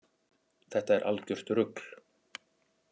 Þetta er algjört rugl